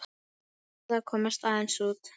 Ég verð að komast aðeins út.